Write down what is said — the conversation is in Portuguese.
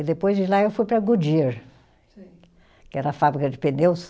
E depois de lá eu fui para a Goodyear. Sei. Que era a fábrica de pneus.